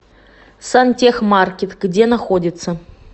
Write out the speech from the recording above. сантехмаркет где находится